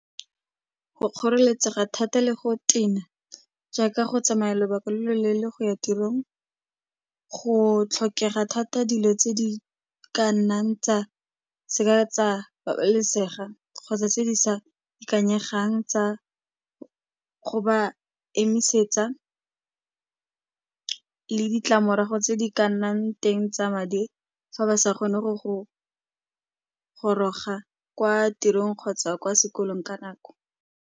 Go kgoreletsa ga thata le go tena, jaaka go tsamaya lobaka lo lo leele go ya tirong go tlhokega thata dilo tse di ka nnang tsa seka tsa babalesega kgotsa tse di sa ikanyegang tsa go ba emisetsa le ditlamorago tse di ka nnang teng tsa madi fa ba sa kgone go goroga kwa tirong kgotsa kwa sekolong ka nako.